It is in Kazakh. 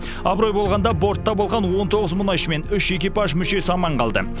абырой болғанда бортта болған он тоғыз мұнайшы мен үш экипаж мүшесі аман қалды